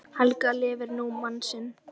Helga lifir nú mann sinn.